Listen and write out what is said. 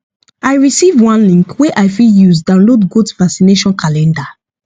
i receive one link wey i fit use download goat vaccination calendar